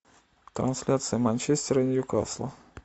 трансляция манчестера и ньюкасла